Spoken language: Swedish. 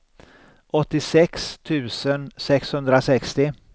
åttiosex tusen sexhundrasextio